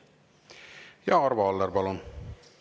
Ja Arvo Aller, palun!